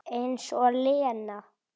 Eins og Lena!